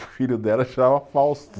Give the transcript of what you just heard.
O filho dela chamava Fausto.